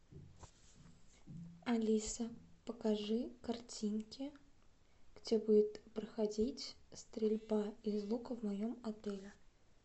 алиса покажи картинки где будет проходить стрельба из лука в моем отеле